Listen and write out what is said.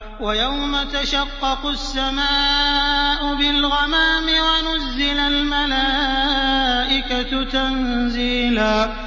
وَيَوْمَ تَشَقَّقُ السَّمَاءُ بِالْغَمَامِ وَنُزِّلَ الْمَلَائِكَةُ تَنزِيلًا